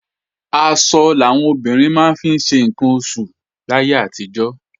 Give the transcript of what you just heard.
Aṣọ làwọn obìnrin máa ń fi ṣe ǹkan oṣù láyé àtijọ́